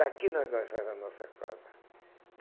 Daqui nós nós faz a nossa casa.